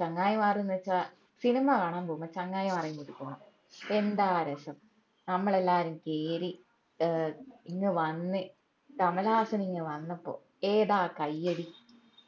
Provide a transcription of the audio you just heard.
ചങ്ങായിമാർ ന്ന് വെച്ചാ സിനിമ കാണാൻ പോവുമ്പോ ചങ്ങായിമാരേം കൂട്ടി പോണം എന്താ രസം ഞമ്മളെല്ലാരും കേറി ഏർ ഇങ് വന്ന് കമലഹാസൻ ഇങ് വന്നപ്പോ ഏതാ കയ്യടി